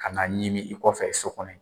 Ka n'a ɲimi i kɔfɛ so kɔnɔ yen.